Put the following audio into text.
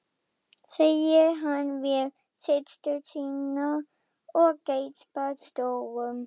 segir hann við systur sína og geispar stórum.